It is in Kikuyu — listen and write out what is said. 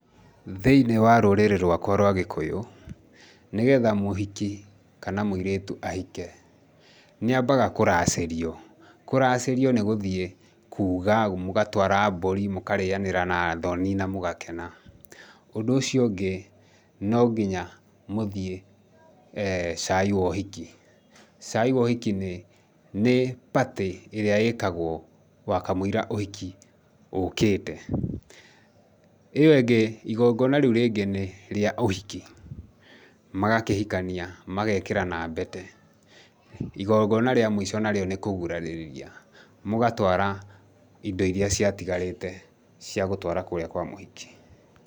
Thĩiniĩ wa rũrĩrĩ rwakwa rwa gĩkũyũ, nĩgetha mũhiki kana mũirĩtu ahike, nĩ ambaga kũracĩrio. Kũracĩrio nĩ gũthiĩ kuuga, mũgatwara mbũri, mũkarĩanĩra na athoni na mũgakena. Ũndũ ũcio ũngĩ, nonginya mũthiĩ eeh cai wa ũhiki. Cai wa ũhiki nĩ nĩ party ĩrĩa ĩkagwo wakamũira ũhiki ũkĩte. ĩyo ĩngĩ, igongona rĩu rĩngĩ nĩ rĩa ũhiki. Magakĩhikania, magekĩrana mbete. Igongona rĩa mũico narĩo nĩ kũgurarĩrĩria. Mũgatwara indo irĩa ciatigarĩte cia gũtwara kũrĩa kwa mũhiki.